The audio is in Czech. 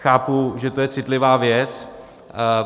Chápu, že to je citlivá věc.